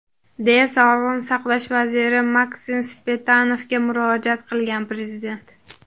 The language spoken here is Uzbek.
deya Sog‘liqni saqlash vaziri Maksim Stepanovga murojaat qilgan Prezident.